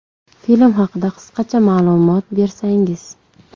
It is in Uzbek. Film haqida qisqacha ma’lumot bersangiz.